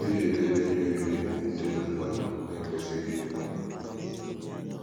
Ọ dịghị edebe ihe oriri ndị m na m na - ekwesịghị iri n’ụlọ.